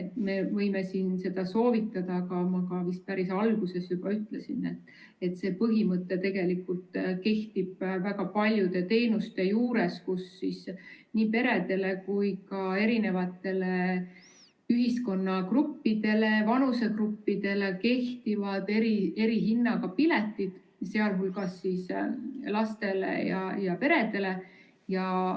Me võime seda soovitada, aga ma ka vist päris alguses juba ütlesin, et see põhimõte tegelikult kehtib väga paljude teenuste juures, kus nii peredele kui ka erinevatele ühiskonnagruppidele, vanusegruppidele kehtivad erihinnaga piletid, sh lastele ja peredele.